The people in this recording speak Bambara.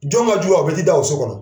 Jɔn ŋa jugu ka fɔ i t'i da o so kɔnɔ ?